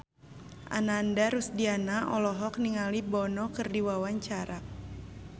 Ananda Rusdiana olohok ningali Bono keur diwawancara